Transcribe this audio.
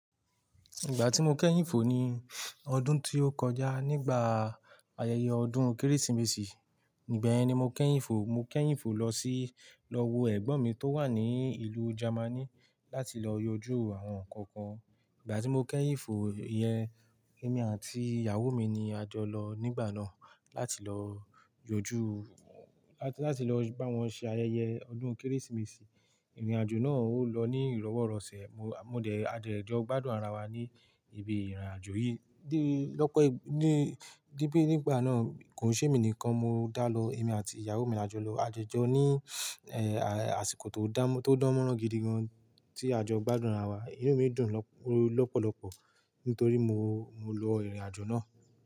Ìgbà tí mo kẹ́yìn fò ni ọdún tí ó kọjá nígbà ayẹyẹ ọdún Kérésìmesì, nígbẹ̀yẹn ni mo kẹ́yìn fò, mo kẹ́yìn Ìfò lọ sí, lọ wo ẹ̀gbọ́n mi tó wà ní ìlú Germany láti lọ yanjú àwọn nǹkan kan. Ìgbà tí mo kẹ́yìn fò iyẹn, èmi àti ìyàwó mi ni a jọ lọ nígbà náà láti lọ yanjú, láti, láti lọ bá wọn ṣe ayẹyẹ ọdún Kérésìmesì. Ìrìnàjò náà ó lọ ní ìrọ́wọ́rọ̀sẹ̀. Mo, mo dẹ̀, a dẹ̀ jọ gbádùn ara wa ní ibi ìrìnàjò yìí. Di pe nígbà náà kò ṣe èmi nìkan ni mo dá lọ, èmi àti ìyàwó mi a jọ lọ. A jojọ ní àsìkò tó dà, tó dánmọ́rán gidi gan tí a jọ gbádùn ara wa. Inú mi dùn lọ́pọ̀lọpọ̀ nítorí mo, mo lọ ìrìn àjò náà.